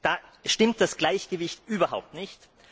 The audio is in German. Da stimmt das Gleichgewicht überhaupt nicht.